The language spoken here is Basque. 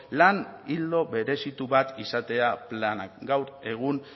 lan ildo berezitu bat izatea planak gaur egun